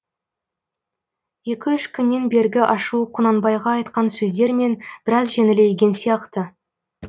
екі үш күннен бергі ашуы құнанбайға айтқан сөздермен біраз жеңілейген сияқты